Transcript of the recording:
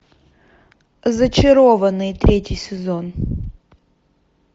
зачарованные третий сезон